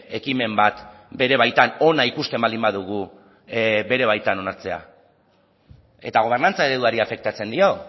ekimen bat bere baitan ona ikusten baldin badugu bere baitan onartzea eta gobernantza ereduari afektatzen dio